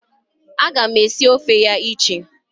Aga m esi ofe ya iche.